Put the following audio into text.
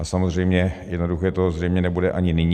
A samozřejmě jednoduché to zřejmě nebude ani nyní.